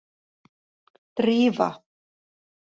Drífa